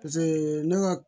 ne ka